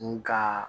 N ka